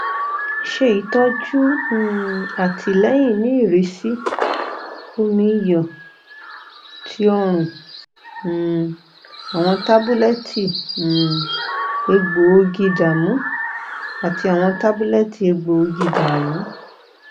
ṣe itọju um atilẹyin ni irisi omi iyọ ti ọrùn um awọn tabulẹti um egboogiidamu ati awọn tabulẹti egboogiidamu